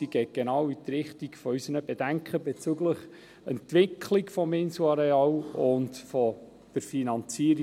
Sie geht genau in die Richtung unserer Bedenken bezüglich der Entwicklung des Inselareals und deren Finanzierung.